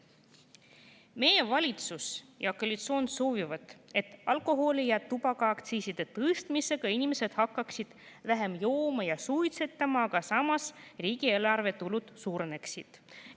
Meie valitsus ja koalitsioon soovivad, et alkoholi‑ ja tubakaaktsiisi tõstmise tõttu hakkaksid inimesed vähem jooma ja suitsetama, aga samas riigieelarve tulud suureneksid.